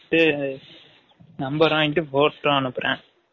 கேட்டு number வாங்கிட்டு photo அனுபுரேன்